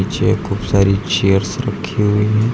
पीछे खूब सारी चेयर्स रखी हुई हैं।